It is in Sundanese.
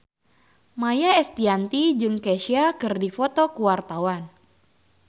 Maia Estianty jeung Kesha keur dipoto ku wartawan